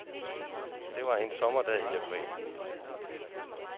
Det var en sommerdag i april.